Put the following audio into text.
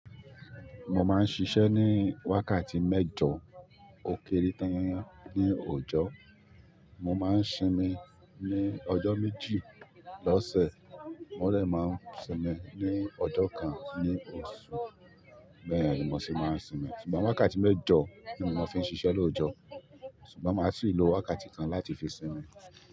Mo máa ń ṣiṣẹ́ ní wákàtí mẹ́jọ ókéré tán ní òjò, mo máa ń sinmi ní ọjọ́ méjì lọ́sẹ̀, mo dè máa ń sinmi ní ọjọ́ kan ní oṣù, bẹ́ẹ̀ ni mò sí máa ń sinmi. Ṣùgbọ́n wákàtí mẹ́jọ ni mo fi ń ṣiṣẹ́ lóòjọ́, ṣùgbọ́n màá sì lo wákàtí kan láti fi sinmi.